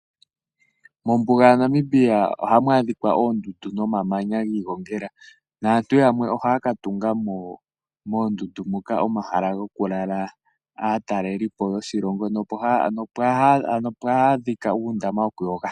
Mombuga yaNamibia ohamu adhika oondundu nomamanya gi igongela naantu yamwe ohaya ka tunga mo moondundu moka omahala gokulala aatalelipo yoshilongo. Ohapu adhika uundama wokuyoga.